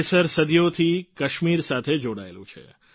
કેસર સદીઓથી કાશ્મીર સાથે જોડાયેલું છે